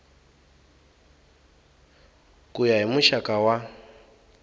ku ya hi muxaka wa